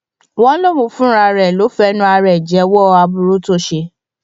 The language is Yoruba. wọn lóun fúnra ẹ ló lọọ fẹnu ara ẹ jẹwọ aburú tó ṣe